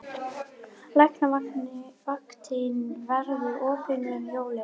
Læknavaktin verður opin um jólin